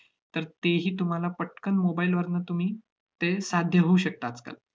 तर तेही तुम्हाला पटकन mobile वरनं तुम्ही ते साध्य होऊ शकतं आजकाल.